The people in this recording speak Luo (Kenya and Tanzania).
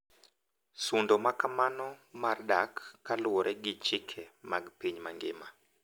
Sundo ma kamano mar dak kaluwore gi chike mag piny mangima,